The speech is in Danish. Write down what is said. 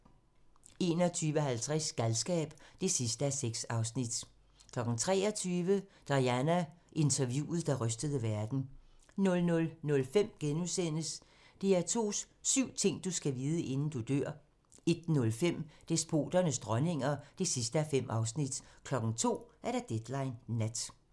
21:50: Galskab (6:6) 23:00: Diana: Interviewet, der rystede verden 00:05: DR2's syv ting, du skal vide, inden du dør * 01:05: Despoternes dronninger (5:5) 02:00: Deadline Nat